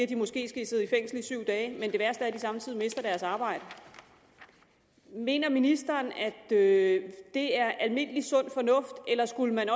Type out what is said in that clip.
de måske skal sidde i fængsel i syv dage men at de samtidig mister deres arbejde mener ministeren at det er almindelig sund fornuft eller skulle man